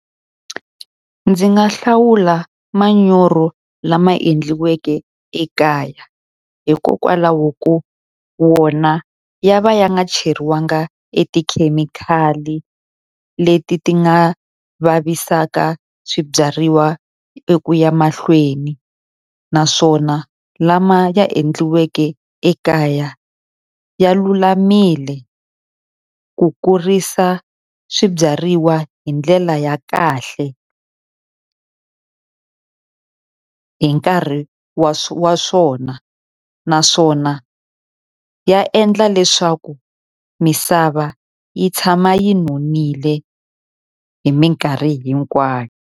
Ndzi nga hlawula manyoro lama endliweke ekaya, hikokwalaho ko wona ya va ya nga cheriwanga e tikhemikhali leti ti nga vavisaka swibyariwa eku ya mahlweni. Naswona lama endliweke ekaya ya lulamile ku kurisa swibyariwa hi ndlela ya kahle hi nkarhi wa wa swona. Naswona ya endla leswaku misava yi tshama yi nonile hi minkarhi hinkwayo.